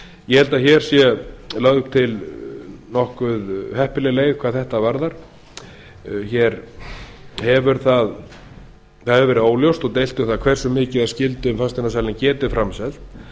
ég held að hér sé lögð til nokkuð heppileg leið hvað þetta varðar það hefur verið óljóst og deilt um það hversu mikið af skyldum fasteignasalinn geti framselt